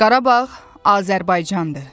Qarabağ Azərbaycandır.